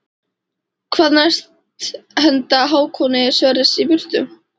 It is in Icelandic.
Hvað næst henda Hákoni Sverris í burtu?